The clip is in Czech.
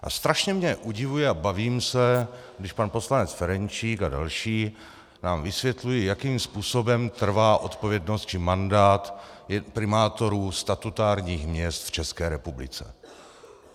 A strašně mě udivuje a bavím se, když pan poslanec Ferjenčík a další nám vysvětlují, jakým způsobem trvá odpovědnost či mandát primátorů statutárních měst v České republice.